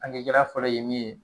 Ange gɛlɛya fɔlɔ ye min ye